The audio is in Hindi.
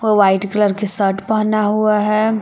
व्हाइट कलर के शर्ट पहना हुआ है।